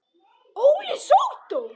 Óli sódó!